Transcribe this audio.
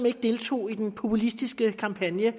ikke deltog i den populistiske kampagne